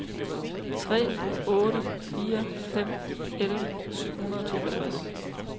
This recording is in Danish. tre otte fire fem elleve syv hundrede og toogtres